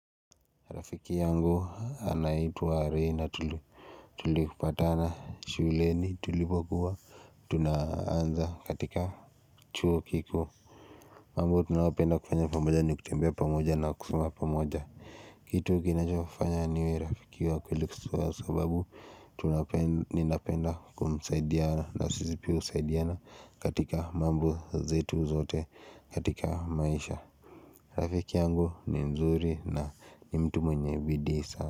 Rafiki yangu anaitwa rena tulipatana shuleni tulipokuwa Tunaanza katika chuo kikuu mambo tunaopenda kufanya pamoja ni kutembea pamoja na kusoma pamoja Kitu kinachofanya niwe rafiki wa kweli kwa sababu Tunapenda kumsaidia na sisi pia husaidiana katika mambo zetu zote katika maisha rafiki yangu ni mzuri na ni mtu mwenye bidii sana.